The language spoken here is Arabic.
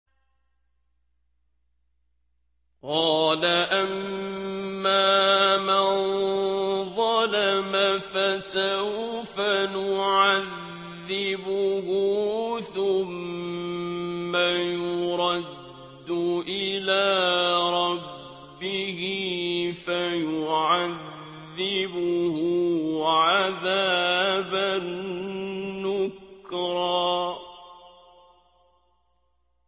قَالَ أَمَّا مَن ظَلَمَ فَسَوْفَ نُعَذِّبُهُ ثُمَّ يُرَدُّ إِلَىٰ رَبِّهِ فَيُعَذِّبُهُ عَذَابًا نُّكْرًا